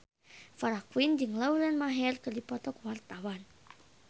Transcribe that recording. Farah Quinn jeung Lauren Maher keur dipoto ku wartawan